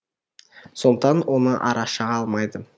сондықтан оны ара шаға алмайды